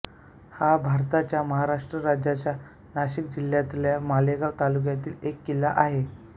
हा भारताच्या महाराष्ट्र राज्याच्या नाशिक जिल्ह्यातल्या मालेगाव तालुक्यातील एक किल्ला आहे